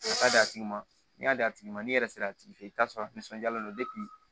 O ka d'a tigi ma n'i y'a d'a tigi ma n'i yɛrɛ sera a tigi fɛ i bɛ t'a sɔrɔ nisɔndiyalen don